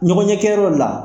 Ɲɔgɔn ɲɛkɛyɔrɔ la